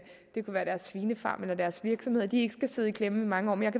det kunne være deres svinefarm eller deres virksomhed ikke skal sidde i klemme i mange år men